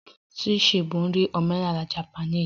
Sushi bụ nri omenala Japanese